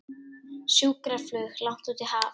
Sjúkraflug langt út í haf